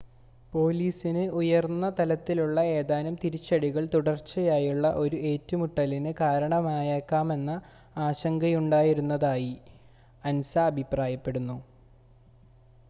" പോലീസിന് ഉയർന്ന തലത്തിലുള്ള ഏതാനും തിരിച്ചടികൾ തുടർച്ചയായുള്ള ഒരു ഏറ്റുമുട്ടലിന് കാരണമായേക്കാമെന്ന ആശങ്കയുണ്ടായിരുന്നതായി" അൻസ അഭിപ്രായപ്പെടുന്നു.